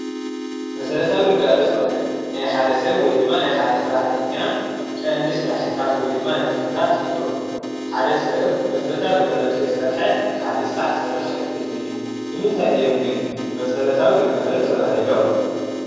መሰረታዊ ግልጋሎት ማለት ናይ ሓደ ሰብ ወይ ድማ ናይ ሓደ ሰራሕተኛ ቀንዲ ስራሕትታት ወይ ድማ ንጥፈታት ማለት እዮም፡፡ ሓደ ሰብ መሰረታዊ ግልጋሎት ከይሰርሐ ካሊእ ስራሕ ክሰርሕ ኣይክእልን እዩ፡፡ ንምንታይ እዮም ግን መሰረታዊ ግልጋሎት ተባሂሎም?